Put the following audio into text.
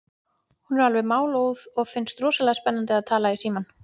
Hún er alveg málóð og finnst rosalega spennandi að tala í símann.